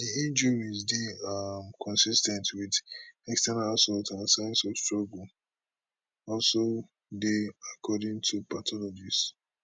di injuries dey um consis ten t wit external assault and signs of struggle also dey according to pathologists